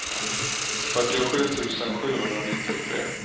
fyrtiosju tusen sjuhundranittiotre